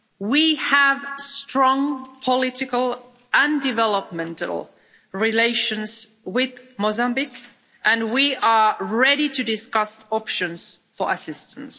We have strong political and developmental relations with Mozambique and we are ready to discuss options for assistance.